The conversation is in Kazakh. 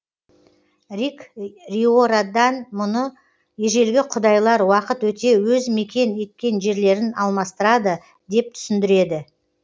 рик риордан мұны ежелгі құдайлар уақыт өте өз мекен еткен жерлерін алмастырады деп түсіндіреді